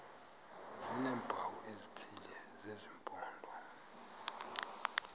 sineempawu ezithile zesimpondo